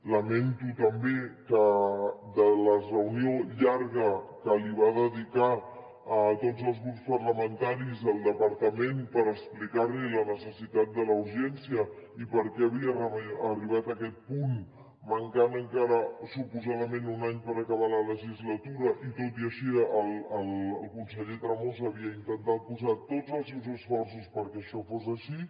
lamento també que de la reunió llarga que va dedicar a tots els grups parlamentaris el departament per explicar la necessitat de la urgència i per què havia arribat a aquest punt mancant encara suposadament un any per acabar la legislatura i tot i així el conseller tremosa havia intentat posar tots els seus esforços perquè això fos així